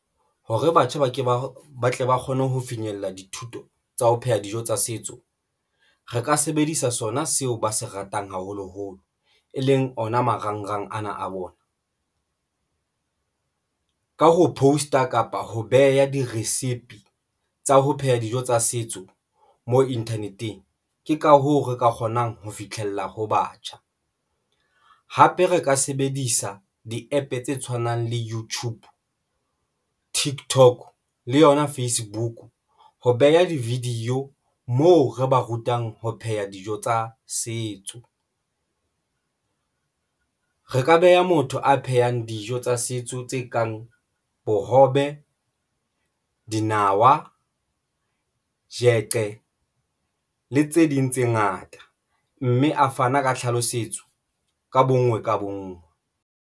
Hore batjha ba ke ba tle ba kgone ho finyella dithuto tsa ho pheha dijo tsa setso, re ka sebedisa sona seo ba se ratang, haholoholo e leng ona marangrang ana a bona ka ho post-a kapa ho beha diresipi tsa ho pheha dijo tsa setso mo internet-eng. Ke ka hoo re ka kgonang ho fitlhella ho batjha, hape re ka sebedisa di-APP tse tshwanang le YouTube, TikTok le yona Facebook, ho beha di-video moo re ba rutang ho pheha dijo tsa setso, re ka beha motho a phehang dijo tsa setso tse kang bohobe, dinawa, jeqe le tse ding tse ngata mme a fana ka tlhalosetso ka bonngwe ka bonngwe.